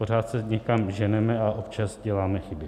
Pořád se někam ženeme a občas děláme chyby.